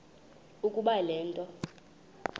ukuba le nto